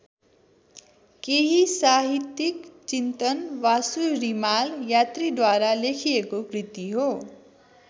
केही साहित्यिक चिन्तन वासु रिमाल यात्रीद्वारा लेखिएको कृति हो।